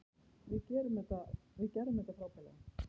Við gerðum þetta frábærlega.